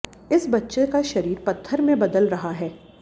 इस बच्चे का शरीर पत्थर में बदल रहा है